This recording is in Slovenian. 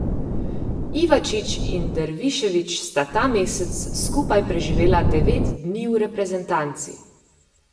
Ivačič in Dervišević sta ta mesec skupaj preživela devet dni v reprezentanci.